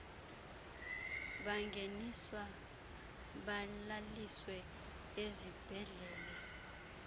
bangeniswa balaliswe ezibhedlele